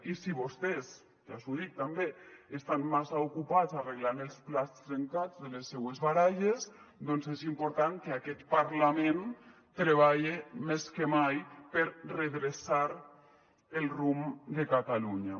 i si vostès ja els ho dic també estan massa ocupats arreglant els plats trencats de les seues baralles doncs és important que aquest parlament treballe més que mai per redreçar el rumb de catalunya